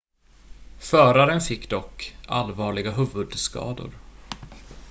föraren fick dock allvarliga huvudskador